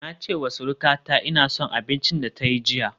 Na ce wa surukata ina son abincin da ta yi jiya